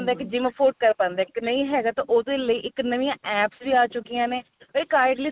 ਕੀ gym afford ਕ਼ਰ ਪਾਂਦੇ ਨਹੀਂ ਹੈਗਾ ਤਾਂ ਉਹਦੇ ਲਈ ਨਵੀਆ APPS ਵੀ ਆ ਚੁੱਕੀਆ ਨੇ ਤੇ kindly